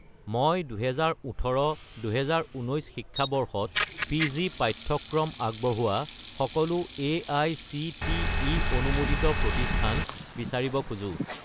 মই 2018 - 2019 শিক্ষাবৰ্ষত পি.জি. পাঠ্যক্ৰম আগবঢ়োৱা সকলো এআইচিটিই অনুমোদিত প্ৰতিষ্ঠান বিচাৰিব খোজো